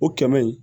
O kɛmɛ in